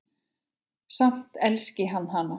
Samt elski hann hana.